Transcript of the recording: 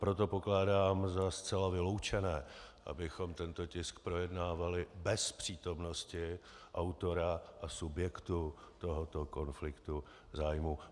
Proto pokládám za zcela vyloučené, abychom tento tisk projednávali bez přítomnosti autora a subjektu tohoto konfliktu zájmů.